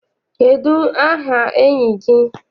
Kedụ aha enyi gị?